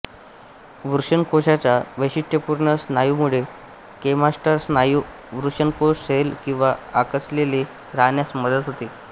वृषणकोशाच्या वैशिष्ट्यपूर्ण स्नायूमुळे क्रेमास्टर स्नायू वृषणकोश सैल किंवा आकसलेले राहण्यास मदत होते